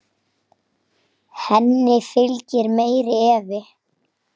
Henni fylgir meiri efi.